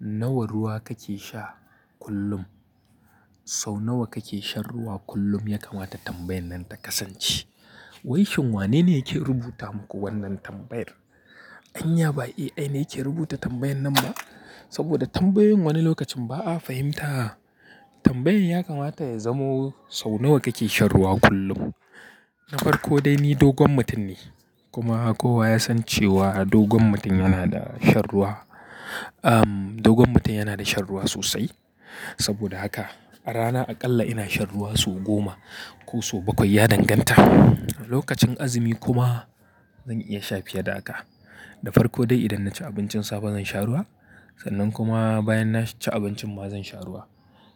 Nawa ruwa kake sha kullum? Sau nawa kake shan ruwa kullum ya kamata tambayan nan ta kasance. Waishin wanene yake rubuta muku wannan tambayar? Anya ba AI ne yake rubuta tambayar nan ba? Saboda tambayoyin wani lokacin ba a fahimta. Tambayoyin ya kamata ya zamo sau nawa kake shan ruwa kullum? Na farko dai ni dogon mutum ne, kuma kowa ya san cewa dogon mutum yana da shan ruwa, amm, dogon mutum yana da shan ruwa sosai. Saboda haka a rana aƙalla ina shan ruwa sau goma ko sau bakwai ya danganta. Lokacin azumi kuma zan iya sha fiye da haka. Da farko dai idan naci abincin safe zan sha ruwa, sannan kuma bayan na ci abincin ma zan sha ruwa.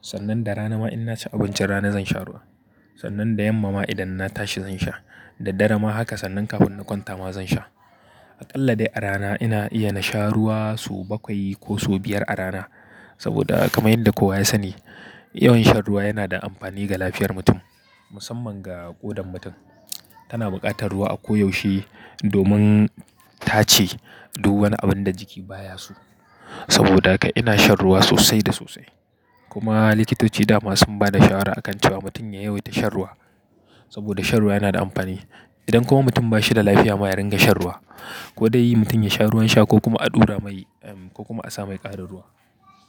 Sannan da rana ma ina cin abincin rana zan sha ruwa. Sannan da yamma ma idan na tashi zan sha. Da dare ma haka sannan kafin na kwanta ma zan sha. Aƙalla dai a rana ina iya na sha ruwa sau bakwai ko sau biyar a rana. Saboda kamar yadda kowa ya sani, yawan shan ruwa yana da amfani ga lafiyar mutum, musamman ga ƙodan mutum. Tana buƙatar ruwa a koyaushe domin tace duk wani abin da jiki baya so. Saboda haka ina shan ruwa sosai da sosai. Kuma likitoci dama sun ba da shawara akan cewa mutum ya yawaita shan ruwa. Saboda shan ruwa yana da amfani. Idan kuma mutum ba shi da lafiya ma ya riga shan ruwa. Kodai mutum ya sha ruwan sha ko kuma a ɗura mai, amm, ko kuma a sa mai ƙarin ruwa.